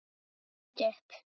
Jói leit upp.